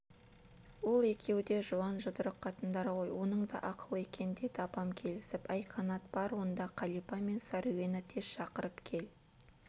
ол екеуі де жуан жұдырық қатындар ғой оның да ақыл екен деді апам келісіп әй қанат бар онда қалипа мен сәруені тез шақырып кел